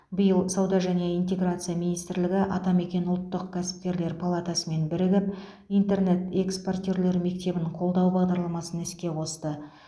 биыл сауда және интеграция министрлігі атамекен ұлттық кәсіпкерлер палатасымен бірігіп интернет экспортерлер мектебін қолдау бағдарламасын іске қосты